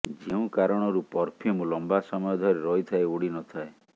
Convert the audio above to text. ଯେଉଁ କାରଣରୁ ପରଫ୍ୟୁମ୍ ଲମ୍ବା ସମୟ ଧରି ରହିଥାଏ ଉଡି ନ ଥାଏ